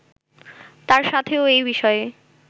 তার সাথেও এ বিষয়ে